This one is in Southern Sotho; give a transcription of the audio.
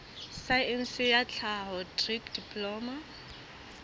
saense ya tlhaho dikri diploma